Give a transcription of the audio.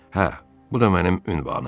Hə, bu da mənim ünvanım.